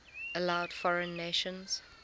allowed foreign nations